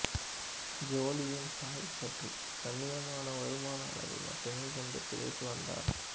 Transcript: ஜோலியின் தாய் சற்று கண்ணியமான வருமான அளவை மட்டுமே கொண்டு பிழைத்து வந்தார்